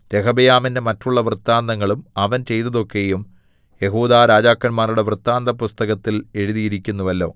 രെഹബെയാമിന്റെ മറ്റുള്ള വൃത്താന്തങ്ങളും അവൻ ചെയ്തതൊക്കെയും യെഹൂദാ രാജാക്കന്മാരുടെ വൃത്താന്തപുസ്തകത്തിൽ എഴുതിയിരിക്കുന്നുവല്ലോ